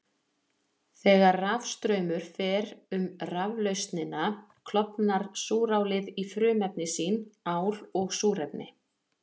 Þegar rafstraumur fer um raflausnina klofnar súrálið í frumefni sín, ál og súrefni.